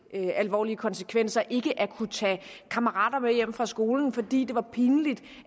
havde alvorlige konsekvenser ikke at kunne tage kammerater med hjem fra skole fordi det var pinligt